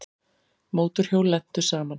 Mótorhjól lentu saman